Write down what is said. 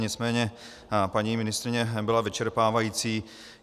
Nicméně paní ministryně byla vyčerpávající.